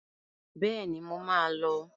Bẹ́ẹ̀ni, mo má a lọ.